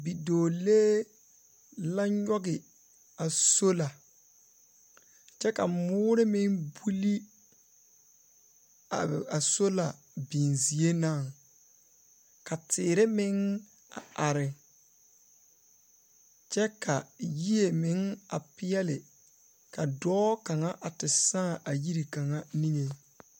Bidͻͻ la nyͻge a sola kyԑ ka mõõre meŋ buli a sola binzie naŋ. Ka teere meŋ a are kyԑ ka yie meŋ a peԑle ka dͻͻ kaŋa a te saa a yiri kaŋa niŋeŋ.